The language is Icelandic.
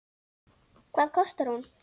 Hvað kostar hún?